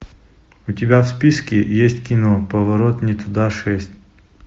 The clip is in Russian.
у тебя в списке есть кино поворот не туда шесть